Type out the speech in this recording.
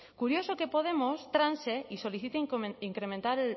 curioso que podemos transe y solicite incrementar